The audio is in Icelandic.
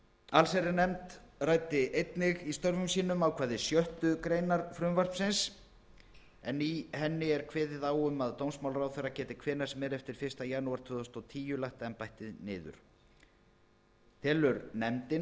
allsherjarnefnd ræddi einnig í störfum sínum ákvæði sjöttu grein en í henni er kveðið á um að dómsmálaráðherra geti hvenær sem er eftir fyrsta janúar tvö þúsund og tíu lagt embættið niður telur nefndin